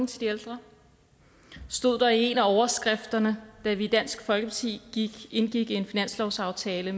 til de ældre stod der i en af overskrifterne da vi i dansk folkeparti indgik en finanslovsaftale